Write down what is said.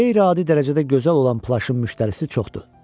Qeyri-adi dərəcədə gözəl olan plaşın müştərisi çoxdur.